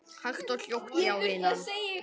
Hægt og hljótt, já vinan.